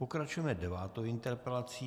Pokračujeme devátou interpelací.